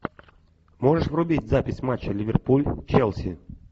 можешь врубить запись матча ливерпуль челси